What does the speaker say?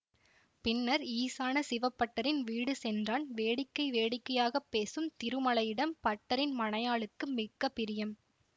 பின்னர் ஈசான சிவபட்டரின் வீடு சென்றான் வேடிக்கை வேடிக்கையாக பேசும் திருமலையிடம் பட்டரின் மனையாளுக்கு மிக்க பிரியம்